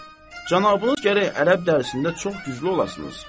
Axund, cənabınız gərək ərəb dərsində çox güclü olasınız.